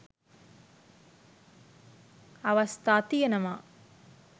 අවස්ථා තියෙනවා.